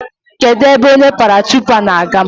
Kedụ ebe onye paratruupa na-aga?